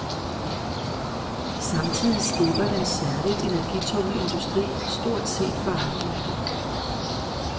Samtidig slipper den særligt energitunge industri stort set for afgifter.